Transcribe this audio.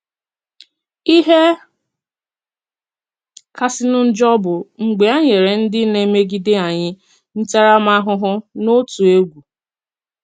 “Ihe kasịnụ njọ bụ mgbe enyèrè ndị na-emegide anyị ntaramahụhụ n’òtù egwú.